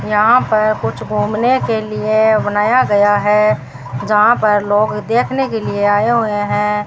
यहां पर कुछ घूमने के लिए बनाया गया है जहां पर लोग देखने के लिए आये हुए है।